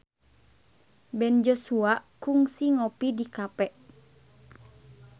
Ben Joshua kungsi ngopi di cafe